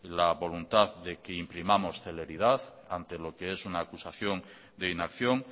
la voluntad de que imprimamos celeridad ante lo que es una acusación de inacción